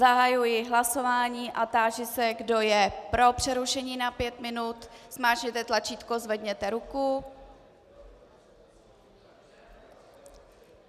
Zahajuji hlasování a táži se, kdo je pro přerušení na pět minut, zmáčkněte tlačítko, zvedněte ruku.